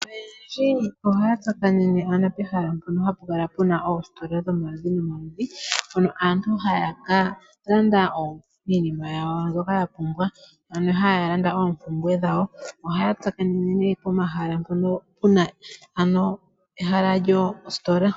Oyendji ohaya tsakanene pomahala mpono hapu kala pu na oositola dhomaludhi nomaludhi hono aantu haya ka landa iinima yawo mbyoka ya pumbwa, ano haya landa oompumbwe dhawo. Ohaya tsakanene pomahala mpono pu na ehala lyositola.